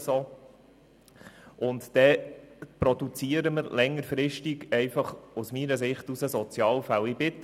Dann produzieren wir aus meiner Sicht längerfristig Sozialfälle.